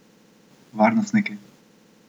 Varnostniki!